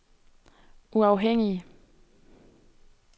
uafhængige